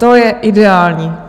To je ideální.